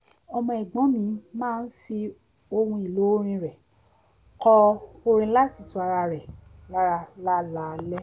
ọmọ ẹ̀gbọ́n mi máa ń fi ohun èlò ọrin rẹ̀ kọ orin láti tu ara rẹ̀ lára láláalẹ́